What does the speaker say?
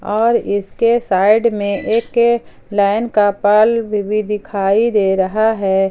और इसके साइड में एक लाइन का बल्ब भी दिखाई दे रहा है।